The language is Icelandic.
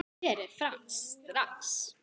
Berið fram strax.